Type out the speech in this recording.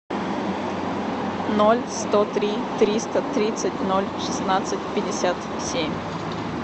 ноль сто три триста тридцать ноль шестнадцать пятьдесят семь